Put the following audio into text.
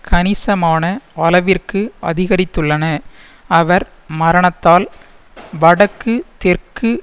கணிசமான அளவிற்கு அதிகரித்துள்ளன அவர் மரணத்தால் வடக்குதெற்கு